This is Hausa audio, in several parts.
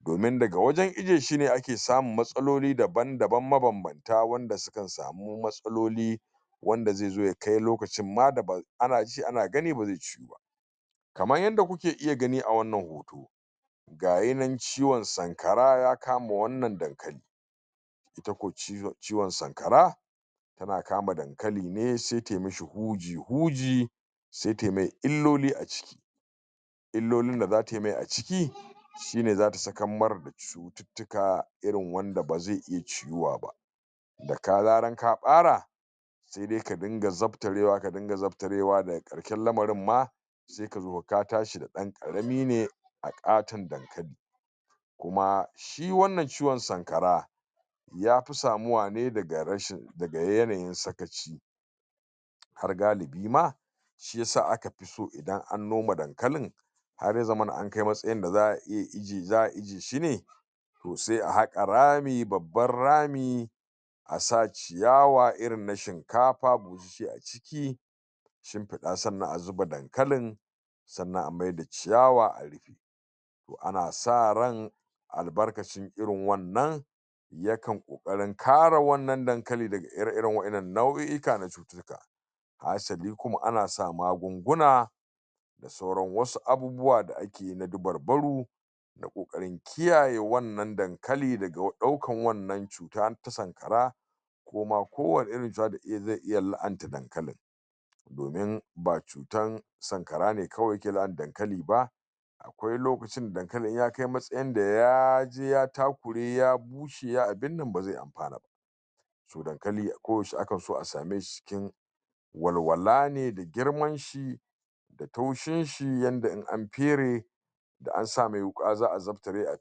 domin daga wajen ijiyeshi ne ake samun matsaloli daban-daban mabanbanta wanda sukan samu matsaloli wanda zai zo yakai lokacin ma da ana ji ana gani bazai ciyuba kaman yadda kuke iya gani a wannan hoto gayinan ciwon sankara ya kama wannan dankali ita ko ciwon sankara tana kama dankaline sai tayi mishi huji-huji sai tayi mai illoli a ciki illolin da zata yi mai a ciki shine zata sakar mai da cutittika irin wanda ba zai iya ciyuwaba da ka zaran ka ɓara sai dai ka rinka zaftarewa, ka rinka zaftarewa daga ƙarshen lamarinma sai ka zo ka tashi da ɗan ƙarami ne a ƙaton dankali kuma shi wannan ciwon sanakara ya fi samuwa ne daga yanayin sakaci har galiba ma shi'isa aka fi so idan an noma dankalin har ya zamana yakai matsayin da za'a iya ajiyeshine to sai a haƙa rami babban rami a sa ciyawa irin na shinkafa sai a ciki a shimfiɗa sannan a sa dankalin sannan a maida ciyawa, a rufe to ana sa ran albarkacin irin wannan yakan ƙoƙarin kare wannan dankalin daga ire-iren waƴannan nau'ika na cutittika hasali kuma ana sa maganguna da sauran wasu abubuwa da akeyi na dabarbaru na ƙoƙarin kiyaye wannan dankali daga ɗaukan wannan cuta ta sanƙara ko ma ko wanne irin cuta zai iya la'anta dankalin domin ba cutan sankara ne kawai yake la'anta dankali ba akwai lokacin da dankalin in ya kai matsayin ya je ya takure ya bushe ya abin nan ba zai anfana ba so dankali a ko yaushe akan so a sameshi cikin walwalane da girmanshi da taushinshi yadda in an fere da an sa mai wuƙa za a zaftare a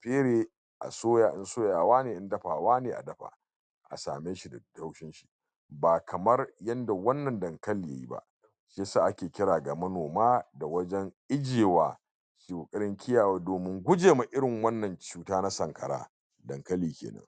fere a soya in soyawane in dafawane a dafa a sameshi da laushinshi ba kaman yadda wannan dankali yayi ba shi isa ake kira ga manoma, ga wajen ijiyewa irin kiyewa domin gujewa irin wannan cuta na sankara dankali kenan